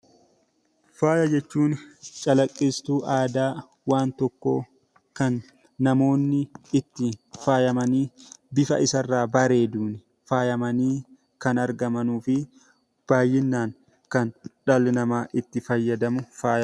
Faaya jechuun calaqqisiistuu aadaa waan tokkoo kan namoonni ittiin faayamanii bifa isaan irraa bareeduun kan faayamanii argamanii fi baayyinaan kan dhalli namaa itti fayyadamu faaya jedhama.